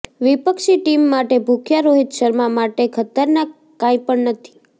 વિપક્ષી ટીમ માટે ભૂખ્યા રોહિત શર્મા માટે ખતરનાક કાંઈપણ નથી